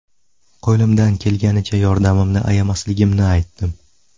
Qo‘limdan kelganicha yordamimni ayamasligimni aytdim.